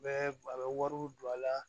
Bɛ a bɛ wariw don a la